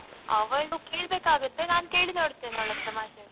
ಅವಳು ಕೇಳ್ಬೇಕಾಗುತ್ತೆ ನಾನ್ ಕೇಳಿ ನೋಡ್ತೆನೆ ಅವಳತ್ರ ಮಾತಾಡಿ.